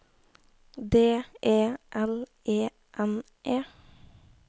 D E L E N E